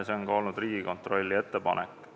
See on olnud ka Riigikontrolli ettepanek.